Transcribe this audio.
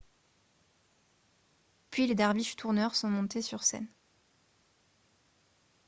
puis les derviches tourneurs sont montés sur scène